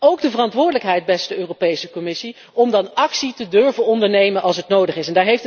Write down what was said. Ook de verantwoordelijkheid, beste Europese Commissie, om dan actie te durven ondernemen als het nodig is.